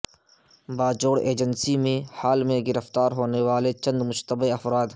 Bajaur agency میں حال میں گرفتار ہونے والے چند مشتبہ افراد